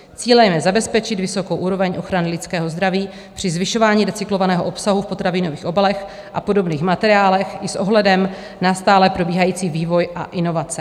Cílem je zabezpečit vysokou úroveň ochrany lidského zdraví při zvyšování recyklovaného obsahu v potravinových obalech a podobných materiálech i s ohledem na stále probíhající vývoj a inovace.